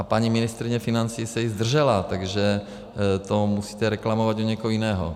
A paní ministryně financí se i zdržela, takže to musíte reklamovat u někoho jiného.